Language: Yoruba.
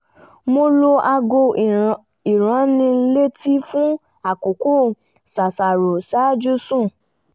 mo lo aago ìránnilétí fún àkókò ṣàṣàrò ṣáájú sùn